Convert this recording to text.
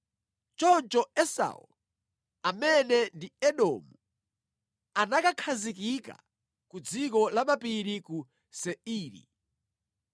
Choncho Esau (amene ndi Edomu) anakakhazikika ku dziko la mapiri ku Seiri.